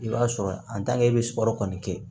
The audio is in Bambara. I b'a sɔrɔ i bɛ sukaro kɔni kɛ